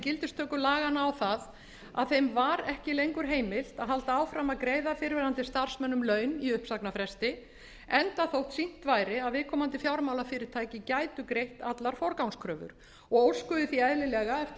gildistöku laganna á það að þeim var ekki lengur heimilt að halda áfram að greiða fyrrverandi starfsmönnum laun í uppsagnarfresti enda þótt sýnt væri að viðkomandi fjármálafyrirtæki gætu greitt allar forgangskröfur og óskuðu því eðlilega eftir